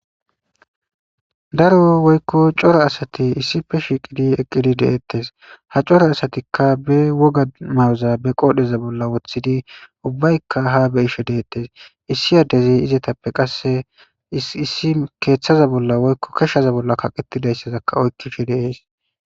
Daro woykko cora asati issife shiiqidi eqqidi deettes ha cora asatikka be woga ma'oza be qoodheza bolla woththidi ubbaykka ha be ishe deettes issi addezi izatappe qasse issi keeththaza bolla woykko keshshaza bolla kaqetidayssazakka oykkishe deees.